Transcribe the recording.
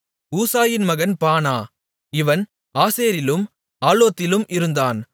ஊசாயின் மகன் பானா இவன் ஆசேரிலும் ஆலோத்திலும் இருந்தான்